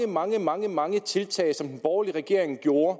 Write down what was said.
mange mange mange tiltag som den borgerlige regering gjorde